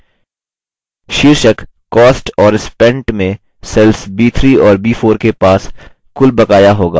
शीर्षक cost और spent में cells b3 और b4 के पास कुल बकाया होगा